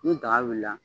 Ni daga wulila la